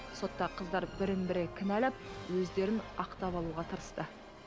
сотта қыздар бірін бірі кінәлап өздерін ақтап алуға тырысты